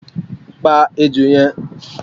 pa ejó yẹn